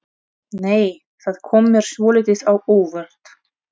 Nei! Það kom mér svolítið á óvart!